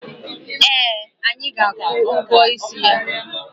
Eh, anyị ga-akwụ ụgwọ isi ya.